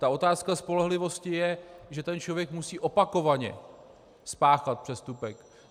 Ta otázka spolehlivosti je, že ten člověk musí opakovaně spáchat přestupek.